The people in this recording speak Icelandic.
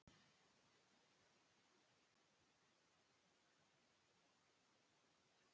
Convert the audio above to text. Er getan og hæfileikar á sama plani?